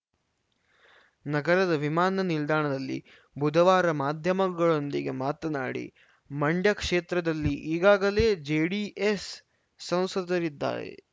ನಗರದ ವಿಮಾನ ನಿಲ್ದಾಣದಲ್ಲಿ ಬುಧವಾರ ಮಾಧ್ಯಮಗಳೊಂದಿಗೆ ಮಾತನಾಡಿ ಮಂಡ್ಯ ಕ್ಷೇತ್ರದಲ್ಲಿ ಈಗಾಗಲೇ ಜೆಡಿಎಸ್‌ ಸಂಸದರಿದ್ದಾರೆ